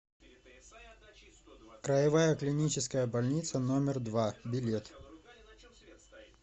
краевая клиническая больница номер два билет